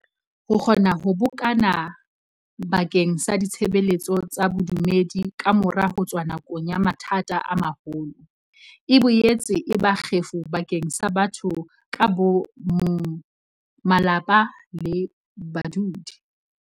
Ho kgona ho bokana ba keng sa ditshebeletso tsa bodumedi kamora ho tswa nakong ya mathata a maholo, e boetse e ba kgefu bakeng sa batho ka bo mong, malapa le badudi.